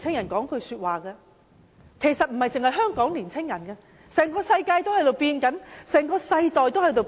我想告訴青年人，不止香港的青年人，整個世界在改變，整個世代也在改變。